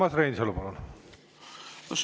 Urmas Reinsalu, palun!